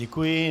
Děkuji.